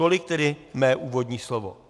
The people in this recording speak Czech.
Tolik tedy mé úvodní slovo.